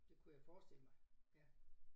Det kunne jeg forestille mig ja